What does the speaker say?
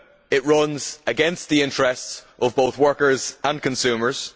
It runs against the interests of both workers and consumers.